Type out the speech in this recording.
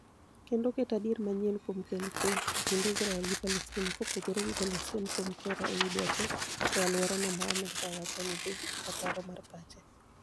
kendo oketo adier manyien kuom kelo kwe e kind Israel gi Palestina kopogore gi golo siem kuom Tehran e wi dwache e aluora no ma Amerkawacho ni dhi ataro mar pache.